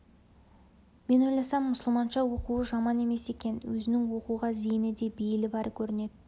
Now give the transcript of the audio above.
мен ойласам мұсылманша оқуы жаман емес екен өзінің оқуға зейіні де бейілі бар көрінеді